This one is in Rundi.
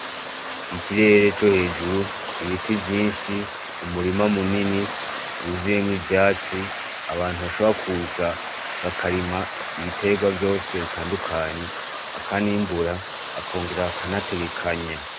Ikirere co hejuru, ibiti vyinshi ,umurima munini wuzuyemwo ivyatsi abantu bashobora kuza, bakarima ibiterwa vyose bitandukanye, bakanimbura bakongera bakanategekanya.